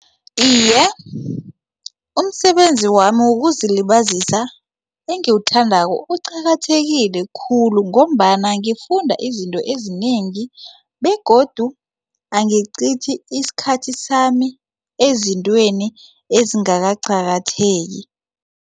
Iye, umsebenzi wami wokuzilibazisa engiwuthandako uqakathekile khulu ngombana ngifunda izinto ezinengi begodu angichithi isikhathi sami ezintweni ezingakaqakatheki.